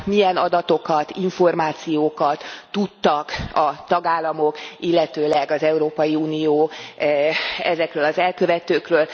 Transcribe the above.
Milyen adatokat, információkat tudtak a tagállamok, illetőleg az Európai Unió ezekről az elkövetőkről?